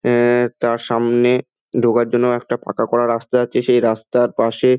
আহ টা সামনে ঢোকার জন্যও একটা পাকা করা একটা রাস্তা আছে সেই রাস্তার পাশে--